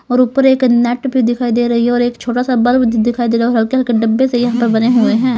और ऊपर एक नेट भी दिखाई दे रही हैं और एक छोटा सा बल्ब दिखाई दे रहा और हल्के-हल्के डब्बे से यहां पर बने हुए हैं।